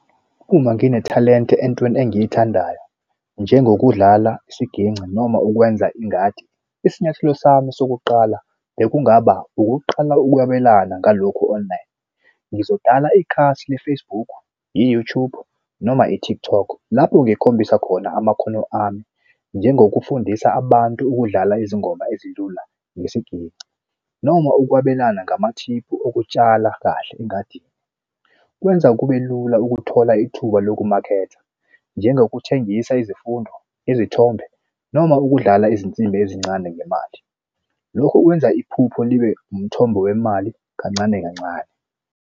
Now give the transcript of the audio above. Uma nginethalente entweni engiyithandayo njengokudlala isiginci noma ukwenza ingadi isinyathelo sami sokuqala bekungaba ukuqala ukwabelana ngalokhu online. Ngizoqala ikhasi le-Facebook, i-YouTube noma i-TikTok lapho ngikhombisa khona amakhono ami njengokufundisa abantu ukudlala izingoma ezilula ngesiginci noma ukwabelana ngamathiphu okutshala kahle engadini. Kwenza kube lula ukuthola ithuba lokumakhetha njengokuthengisa izifundo, izithombe noma ukudlala izinsimbi ezincane ngemali. Lokhu kwenza iphupho libe umthombo wemali kancane kancane.